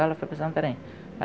Ela foi para Santarém.